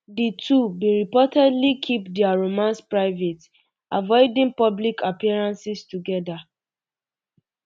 di two um bin reportedly keep dia romance private avoiding um public appearances together